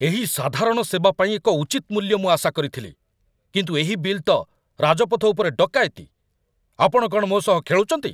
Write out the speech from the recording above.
ଏହି ସାଧାରଣ ସେବା ପାଇଁ ଏକ ଉଚିତ ମୂଲ୍ୟ ମୁଁ ଆଶା କରିଥିଲି, କିନ୍ତୁ ଏହି ବିଲ୍ ତ ରାଜପଥ ଉପରେ ଡକାୟତି! ଆପଣ କ'ଣ ମୋ ସହ ଖେଳୁଛନ୍ତି?